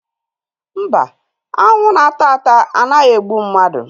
Mba, aṅụ na-agba agba anaghị egbu mmadụ